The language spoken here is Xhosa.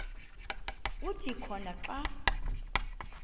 kuthi khona xa